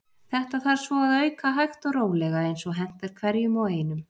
Þetta þarf svo að auka hægt og rólega eins og hentar hverjum og einum.